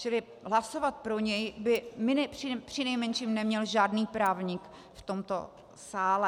Čili hlasovat pro něj by přinejmenším neměl žádný právník v tomto sále.